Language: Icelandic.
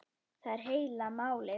Það er heila málið!